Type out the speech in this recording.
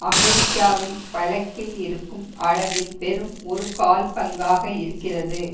அமெரிக்காவில் வழக்கில் இருக்கும் அளவில் வெறும் ஒரு கால் பங்காக இருக்கிறது